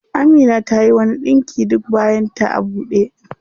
Amina tayi wani ɗinki duk bayan ta a ɓude.